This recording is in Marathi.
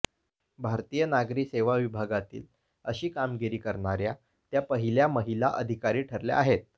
भारतातील नागरी सेवा विभागातील अशी कामगिरी करणाऱ्या त्या पहिल्या महिला अधिकारी ठरल्या आहेत